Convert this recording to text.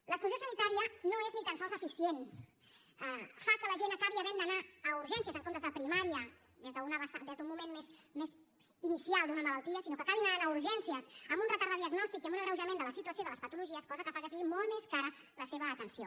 l’exclusió sanitària no és ni tan sols eficient fa que la gent acabi havent d’anar a urgències en comptes de primària des d’un moment més inicial d’una malaltia sinó que acabi anant a urgències amb un retard de diagnòstic i amb un agreujament de la situació de les patologies cosa que fa que sigui molt més cara la seva atenció